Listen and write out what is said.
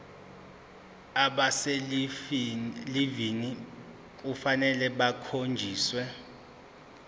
abaselivini kufanele bakhonjiswe